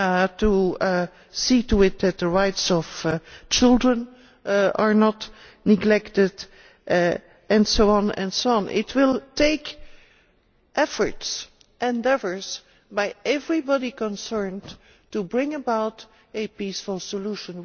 to see to it that the rights of children are not neglected, and so on. It will take efforts and endeavours by everybody concerned to bring about a peaceful solution.